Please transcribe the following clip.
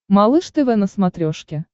малыш тв на смотрешке